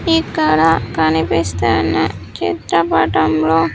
ఇక్కడ కనిపిస్తున్న చిత్రపటంలో--